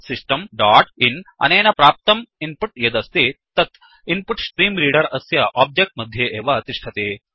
system dot in अनेन प्राप्तं input यदस्ति तत् इन्पुट्स्ट्रीम्रेडर अस्य ओब्जेक्ट् मध्ये एव तिष्ठति